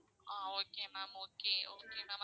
ah okay ma'am okay okay mam